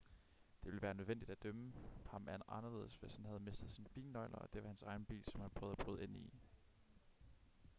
det ville være nødvendigt at dømme ham anderledes hvis han havde mistet sine bilnøgler og det var hans egen bil som han prøvede at bryde ind i